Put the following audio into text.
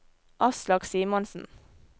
Aslak Simonsen